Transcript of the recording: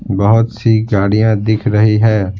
बहुत सी गाड़ियां दिख रही है।